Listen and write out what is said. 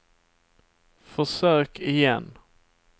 försök igen